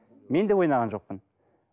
мен де ойнаған жоқпын